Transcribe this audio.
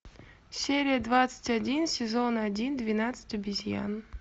серия двадцать один сезон один двенадцать обезьян